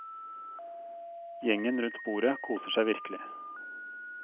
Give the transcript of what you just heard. Gjengen rundt bordet koser seg virkelig.